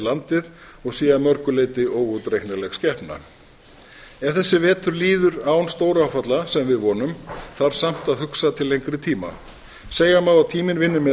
landið og sé að mörgu leyti óútreiknanleg skepna ef þessi vetur líður án stóráfalla sem við vonum þarf samt að hugsa til lengri tíma segja má að tíminn vinni með